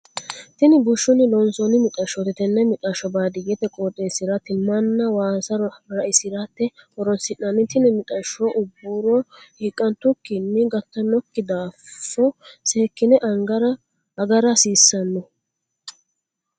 Tini bushunni loonsoonni mixashooti. Tenne mixasho baadiyete qooxeesira timanna waassa ra'isirate horoonsi'nanni tinni mixasho uburo hiiqantukinni gatanoki daafo seekine agara hasiisano no.